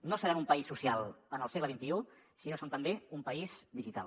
no serem un país social en el segle xxi si no som també un país digital